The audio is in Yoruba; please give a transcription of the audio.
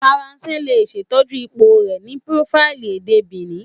Faranse le ṣetọju ipo rẹ ni profaili ede Benin